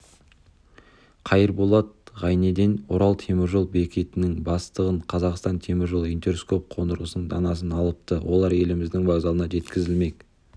қайырболат ғайнеден орал теміржол бекетінің бастығы қазақстан теміржолы интерскоп қондырғысының данасын алыпты олар еліміздің вокзалына жеткізілмек